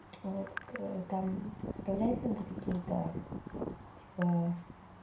это там вставлять надо какие-то типа